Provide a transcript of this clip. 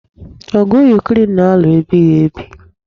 Ọgụ Yukren na-alụ ebibeghi.